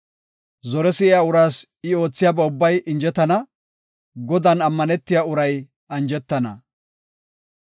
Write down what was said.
Zore si7iya uraas I oothiyaba ubbay injetana; Godan ammanetiya uray anjetana.